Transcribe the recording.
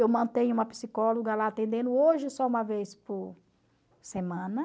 Eu mantenho uma psicóloga lá atendendo hoje só uma vez por semana.